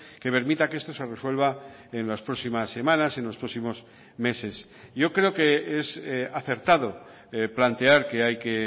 que permita que esto se resuelva en las próximas semanas en los próximos meses yo creo que es acertado plantear que hay que